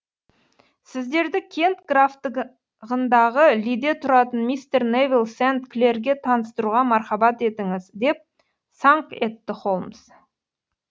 сіздерді кент графтығындағы лиде тұратын мистер невилл сент клерге таныстыруға мархабат етіңіз деп саңқ етті холмс